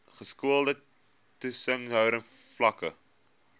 geskoolde toesighouding vlakke